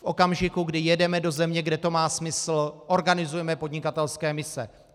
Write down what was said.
V okamžiku, kdy jedeme do země, kde to má smysl, organizujeme podnikatelské mise.